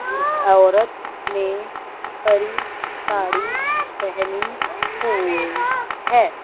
औरत ने हरी साड़ी पहनी हुई है।